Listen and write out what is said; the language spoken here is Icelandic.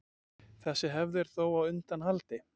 Þessi hefð er þó á undanhaldi.